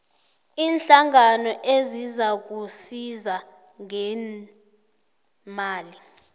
iinhlangano ezizakusiza ngeemali